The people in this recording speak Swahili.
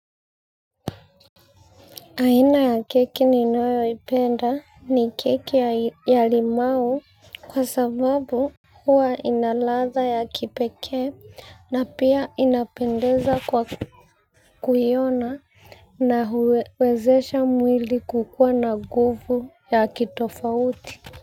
Aina ya keki ninayoipenda ni keki ya limau kwa sababu hua inalatha ya kipekee na pia inapendeza kwa kuiona na huwezesha mwili kukua na nguvu ya kitofauti.